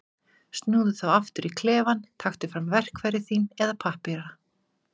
Snúðu þá aftur í klefann, taktu fram verkfæri þín eða pappíra.